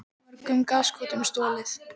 Mörgum gaskútum stolið